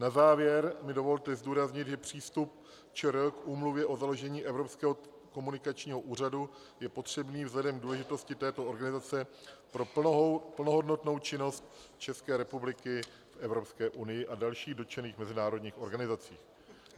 Na závěr mi dovolte zdůraznit, že přístup ČR k Úmluvě o založení Evropského komunikačního úřadu je potřebný vzhledem k důležitosti této organizace pro plnohodnotnou činnost České republiky v Evropské unii a dalších dotčených mezinárodních organizacích.